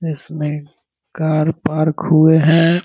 इसमें car park हुए हैं।